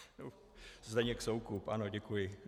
Zdeněk Soukup, ano, děkuji.